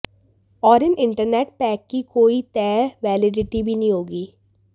और इन internet pack की कोई तय वैलिडिटी भी नहीं होगी